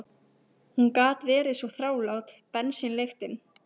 Hún gat verið svo þrálát, bensínlyktin.